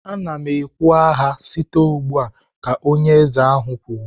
"Ana m ekwu agha site ugbu a!" Ka onye eze ahụ kwuru